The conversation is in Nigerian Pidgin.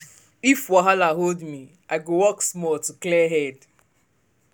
if wahala hold me i go walk small to clear head.